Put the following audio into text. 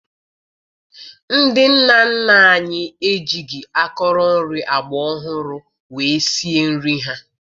Ndị nna nna anyị ejighi akọrọ nri agbaọhụrụ wee sie nri ha